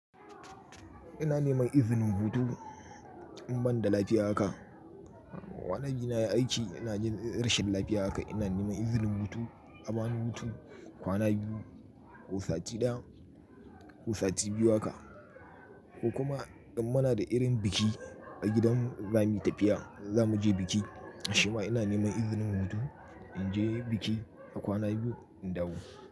Ina neman izinin hudu, in ban da lafiya haka. Kwana biyu ina aiki ina jin rashin lafiya haka ina neman izinin hutu, abani hutu, kwana biyu, kosati ɗaya, kosati biyu haka. Ko kuma in muna da irin biki a gidan zamu yi tafiya zamu je biki shima ina neman izinin hutu in je biki a kwana biyu in dawo.